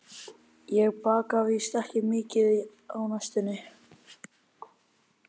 Ég baka víst ekki mikið á næstunni.